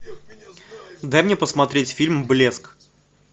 дай мне посмотреть фильм блеск